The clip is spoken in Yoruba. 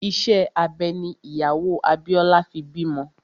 Ìṣe abẹ ní ìyàwó Abíọ́lá fi bímọ